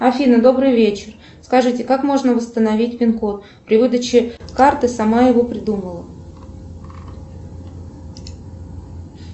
афина добрый вечер скажите как можно восстановить пин код при выдаче карты сама его придумала